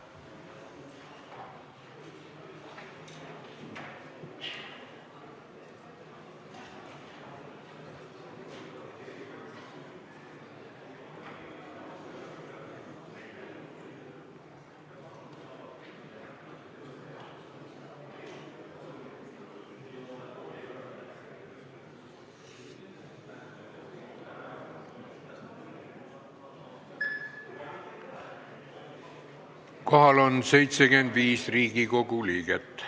Kohaloleku kontroll Kohal on 75 Riigikogu liiget.